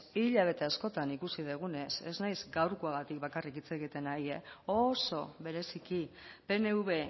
hilabete askotan ikusi dugunez ez naiz gaurkoagatik bakarrik hitz egiten ari e oso bereziki pnv